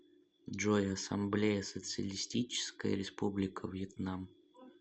джой ассамблея социалистическая республика вьетнам